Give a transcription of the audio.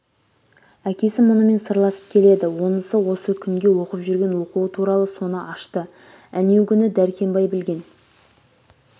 әкесі мұнымен сырласып келеді онысы осы күнгі оқып жүрген оқуы туралы соны ашты әнеугүні дәркембай білген